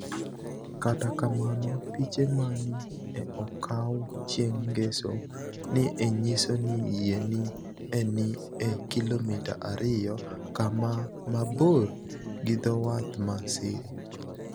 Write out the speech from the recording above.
Kata kamano, piche ma ni e okawo chienig' nigeso, ni e niyiso nii yie ni e nii e kilomita 2 kama mabor gi dho wath mar Siria.